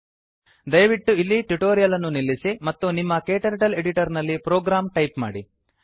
ದಯವಿಟ್ಟು ಇಲ್ಲಿ ಟ್ಯುಟೋರಿಯಲ್ ಅನ್ನು ನಿಲ್ಲಿಸಿ ಮತ್ತು ನಿಮ್ಮ ಕ್ಟರ್ಟಲ್ ಎಡಿಟರ್ ನಲ್ಲಿ ಪ್ರೋಗ್ರಾಂ ಟೈಪ್ ಮಾಡಿ